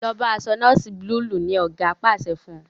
lọ bó aṣọ noosi Búlúù! ní oga pàṣẹ fún.